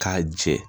K'a jɛ